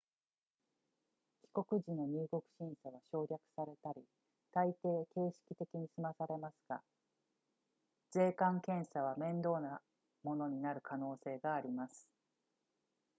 帰国時の入国審査は省略されたりたいてい形式的にすまされますが税関検査は面倒なものになる可能性があります